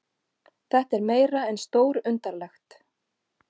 Þetta er meira en stórundarlegt